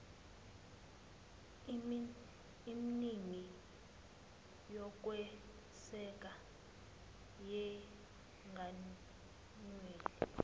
emningi yokweseka yenganyelwe